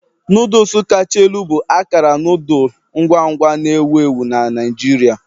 Noodles kacha elu bụ akara noodle ngwa ngwa na-ewu ewu na Naijiria.